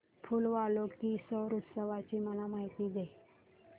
फूल वालों की सैर उत्सवाची मला माहिती दे